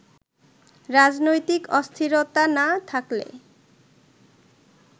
রাজনৈতিক অস্থিরতা না থাকলে